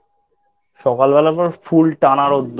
সকালবেলা তো Full টানা রোদ্দুর।